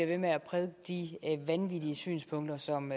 ved med at prædike de vanvittige synspunkter som